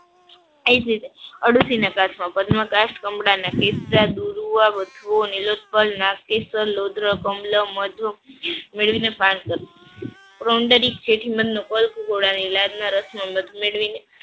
એ જ રીતે અરડૂસી ના કાસ્ટમાં મેળવીને સ્નાન કરું રસમાં મધ મેળવીને